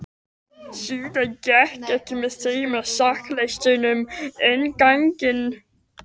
Síðan gekk hann með þeim á sokkaleistunum inn ganginn.